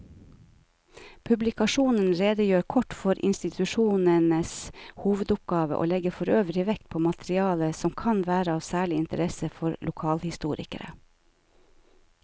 Publikasjonen redegjør kort for institusjonenes hovedoppgaver og legger forøvrig vekt på materiale som kan være av særlig interesse for lokalhistorikere.